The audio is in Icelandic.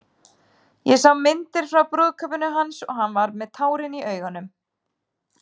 Ég sá myndir frá brúðkaupinu hans og hann var með tárin í augunum.